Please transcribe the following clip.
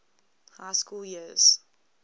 high school years